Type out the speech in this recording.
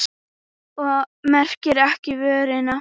Og merkti sér vöruna.